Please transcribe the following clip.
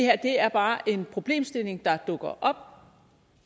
er bare en problemstilling der dukker op